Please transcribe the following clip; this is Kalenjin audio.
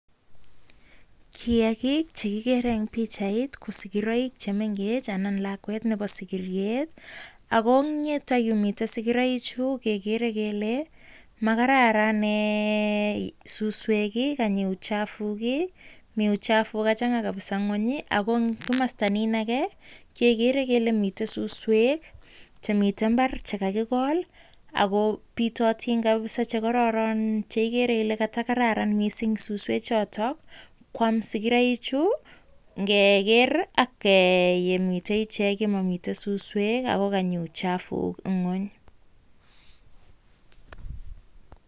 Kiagik chekigere eng pikchait ko sigiroik chemengech anan ko lakwet nebo sigiryet. Ako eng yetayu mitei sigiroik chotok kegere. Komakararan suswek Ako kanyi uchafuk kachan' ga kabisa ingweny Ako komosta nin age gegere kele mitei suswek chekororon chemitei imbar chekakikol Ako bitotin kabisa chekororon cheigere ile katakararan mising suswek chotok koam sigiroik chu ngeger akomitei icheket ole momiten suswek Ako kanyi uchafuk ingweny.